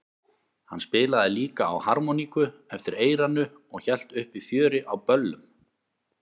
Hann spilaði líka á harmoníku eftir eyranu og hélt uppi fjöri á böllum.